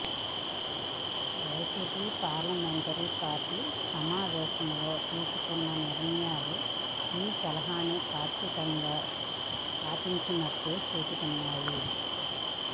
YCP parliamentary party సమావేశంలో తీసుకున్న నిర్ణయాలు ఈ సలహాని పాక్షికంగా పాటించినట్టు చూపుతున్నాయి